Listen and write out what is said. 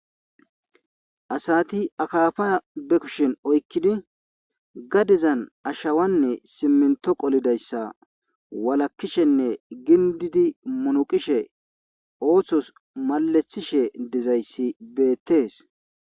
asati akaafa be kushin oykkidi gadezan ashawanne siminto qolidayssa walakkishenne gindidi munuqishe ooththos malethishe dizayssi beettees